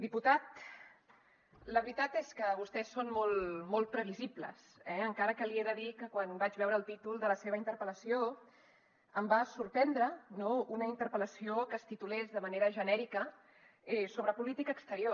diputat la veritat és que vostès són molt molt previsibles eh encara que li he de dir que quan vaig veure el títol de la seva interpel·lació em va sorprendre no una interpel·lació que es titulés de manera genèrica sobre política exterior